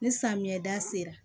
Ni samiya da sera